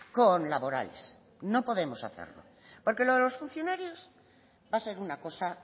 con laborales no podemos hacerlo porque lo de los funcionarios va a ser una cosa